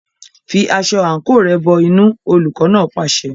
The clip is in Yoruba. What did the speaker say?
Fi aṣọ àǹkóò rẹ̀ bọ inú, olùkọ́ náà pàṣẹ.